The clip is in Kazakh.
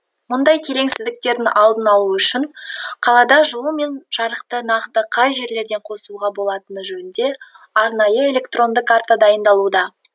мұндай келеңсіздіктердің алдын алу үшін қалада жылу мен жарықты нақты қай жерлерден қосуға болатыны жөнінде арнайы электронды карта дайындалуда